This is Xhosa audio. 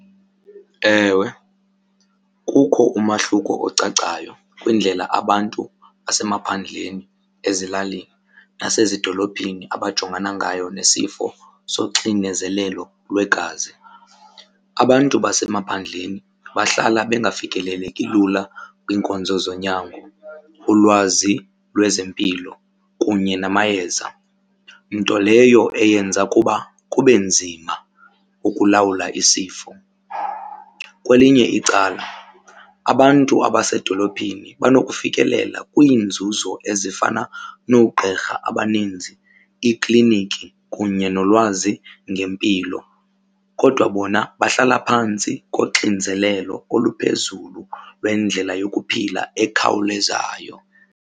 Ewe, kukho umahluko ocacayo kwindlela abantu basemaphandleni, ezilalini, nasezidolophini abajongana ngayo nesifo soxinezelelo lwegazi. Abantu basemaphandleni bahlala bengafikeleleki lula kwiinkonzo zonyango, ulwazi lwezempilo kunye namayeza, nto leyo eyenza ukuba kube nzima ukulawula isifo. Kwelinye icala abantu abasedolophini banokufikelela kwiinzuzo ezifana noogqirha abaninzi, iikliniki kunye nolwazi ngempilo. Kodwa bona bahlala phantsi koxinzelelo oluphezulu lwendlela yokuphila ekhawulezayo.